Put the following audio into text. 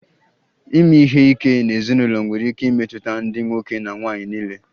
Ime ihe ike n'ezinụlọ nwere ike imetụta ndị nwoke na nwanyị niile